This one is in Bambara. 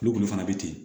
Olu kɔni fana bɛ ten